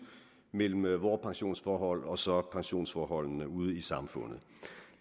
mellem vore pensionsforhold og så pensionsforholdene ude i samfundet